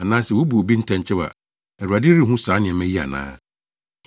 anaa sɛ wobu obi ntɛnkyew a, Awurade renhu saa nneɛma yi ana?